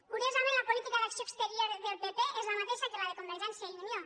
curiosament la política d’acció exterior del pp és la mateixa que la de convergència i unió